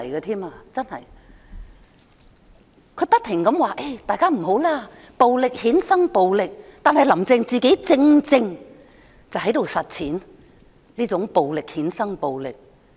她不停表示，大家不要讓暴力衍生暴力。但是，"林鄭"本人正正實踐這種暴力衍生暴力的做法。